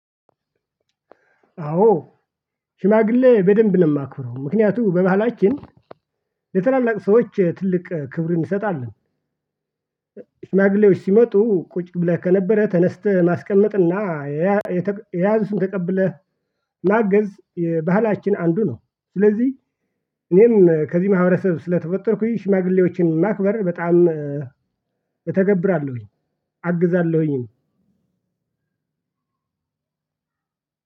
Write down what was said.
አዎ። ሽማግሌ በደንብ ነው ማከብረው ምክንያቱም በመሃላችን የታላላቅ ሰዎች ትልቅ ክብር እንሰጣለን። ሽማግሌዎች ሲመጡ ቁጭ ብለህ ከነበረ ተነስተህ ማስቀመጥና የያዙን ተቀብለህ ማገዝ የባህላችን አንዱ ነው። ስለዚህ እኔም ከዚህ ማህበረሰብ ስለተፈጠርኩኝ ሽማግሌዎችን ማክበር በጣም እተገብራለሁኝ። አግዛለሁኝም።